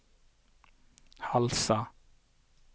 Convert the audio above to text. Halsa